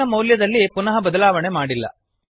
a ನ ಮೌಲ್ಯದಲ್ಲಿ ಪುನಃ ಬದಲಾವಣೆ ಮಾಡಿಲ್ಲ